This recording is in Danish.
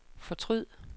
fortryd